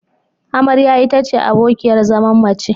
Amarya ita ce abokiyar zaman mace.